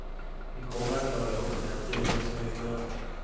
Vi kommer att klara upp det, det är det som är skönt.